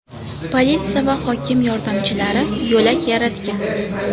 Politsiya va hokim yordamchilari yo‘lak yaratgan.